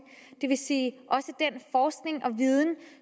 det vil sige også den forskning og viden